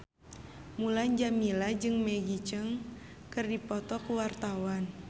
Mulan Jameela jeung Maggie Cheung keur dipoto ku wartawan